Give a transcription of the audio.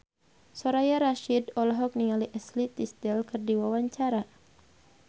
Soraya Rasyid olohok ningali Ashley Tisdale keur diwawancara